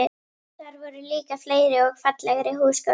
Þar voru líka fleiri og fallegri húsgögn.